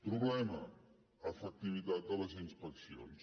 problema efectivitat de les inspeccions